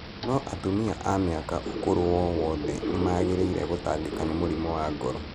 No atumia a mĩaka ũkũrũ wowothe nĩ mangĩrĩire gũtangĩka nĩ mũrimũ wa ngoro.